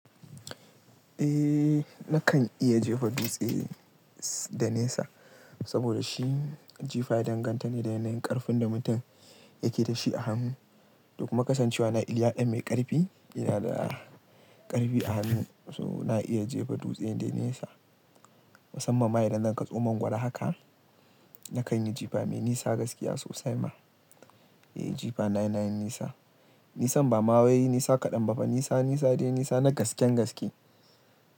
Eh nakan iya jefa dutse da nesa saboda shi jifa ya danganta ne da yanayin ƙarfin da mutum yake da shi a hannu. To kuma kasancewa na iliya dan mai ƙarfi, ina da ƙarfi a hannu so na iya jefa dutse dai nesa. Musamman ma idan zan kaso mangwara haka nakan yi jifa mai nisa gaskiya sosai ma. Eh jifa na yanayin nisa. Nisan bama wai nisa kaɗan ba fa, nisa nisa dai nisa na gasken gaske.